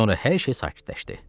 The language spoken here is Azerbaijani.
Sonra hər şey sakitləşdi.